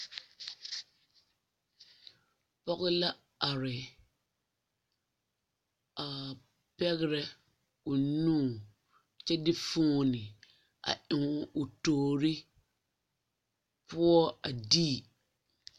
Pɔge la are a pɛgrɛ o nu kyɛ de fooni a eŋ o toori poɔ a dii.